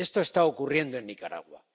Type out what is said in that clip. Esto está ocurriendo en Nicaragua.